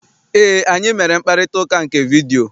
Eé, anyị mere mkparịtaụka nke vidiyio.